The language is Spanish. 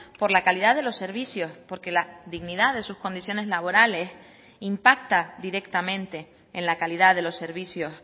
por la calidad de los servicios porque la dignidad de sus condiciones laborales impacta directamente en la calidad de los servicios